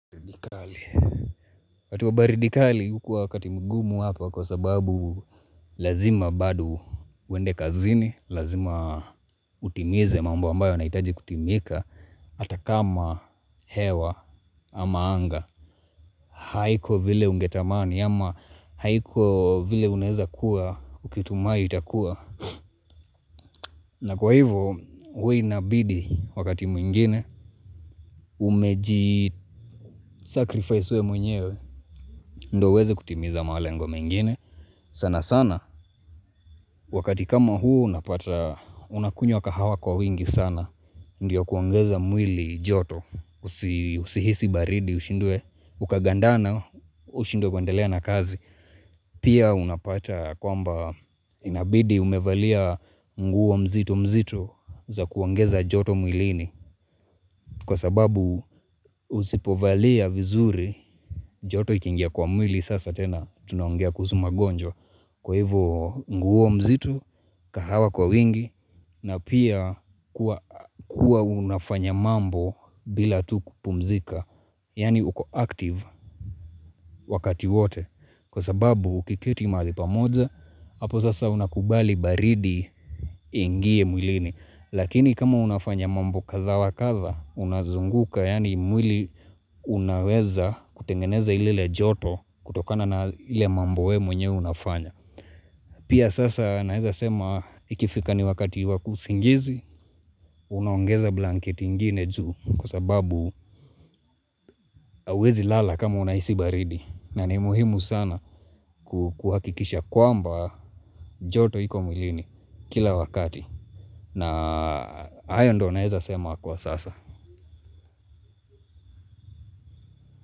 Wakati wa baridi kali hukuwa wakati mgumu hapa kwa sababu lazima bado uende kazini Lazima utimize mambo ambayo yanahitaji kutimika hata kama hewa ama anga haiko vile ungetamani ama haiko vile unaeza kuwa ukitumai itakuwa na kwa hivo huwa inabidi wakati mwingine Umeji sacrifice wewe mwenyewe ndo uweze kutimiza malengo mengine Sanasana wakati kama huu unapata unakunywa kahawa kwa wingi sana Ndiyo kuongeza mwili joto usihisi baridi ushindwe ukagandana ushindwe kuendelea na kazi Pia unapata kwamba inabidi umevalia nguo mzito mzito za kuongeza joto mwilini kwa sababu usipovalia vizuri joto ikiingia kwa mwili sasa tena tunaongea kuzuma magonjwa kwa hivyo nguo mzito kahawa kwa wingi na pia kuwa unafanya mambo bila tu kupumzika Yaani uko active wakati wote Kwa sababu ukiketi mahali pamoja hapo sasa unakubali baridi iingie mwilini Lakini kama unafanya mambo kadha wa kadha unazunguka yaani mwili unaweza kutengeneza ile joto kutokana na ile mambo wewe mwenye unafanya Pia sasa naeza sema ikifika ni wakati wa kuhisi usingizi unaongeza blanketi ingine juu kwa sababu huwezi lala kama unahisi baridi na ni muhimu sana ku kuhakikisha kwamba joto iko mwilini kila wakati na hayo ndo naeza sema kwa sasa.